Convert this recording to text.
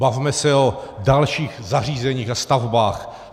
Bavme se o dalších zařízeních a stavbách.